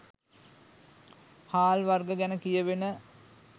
හාල් වර්ග ගැන කියැවෙන